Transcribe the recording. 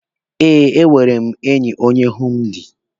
Eh, enwere m enyi onye hindu.